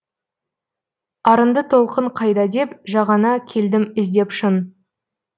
арынды толқын қайда деп жағаңа келдім іздеп шын